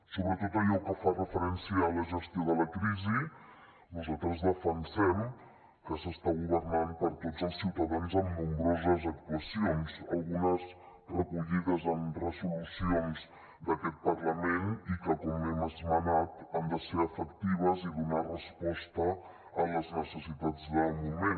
sobre tot allò que fa referència a la gestió de la crisi nosaltres defensem que s’està governant per a tots els ciutadans amb nombroses actuacions algunes recollides en resolucions d’aquest parlament i que com hem esmenat han de ser efectives i donar resposta a les necessitats del moment